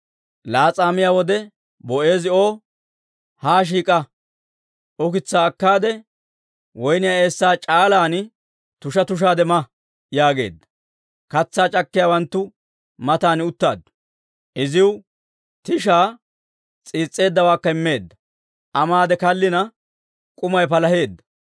Laas'aa miyaa wode Boo'eezi O, «Haa shiik'a; ukitsaa akkaade woyniyaa eessaa c'aalan tusha tushaade ma» yaageedda. Katsaa c'akkiyaawanttu matan uttaaddu. Iziw tishaa s'iis's'eeddawaakka immeedda; Aa maade kallina, k'umay palaheedda.